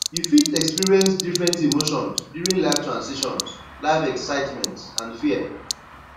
you fit experience different emotions during life transitions life excitement and fear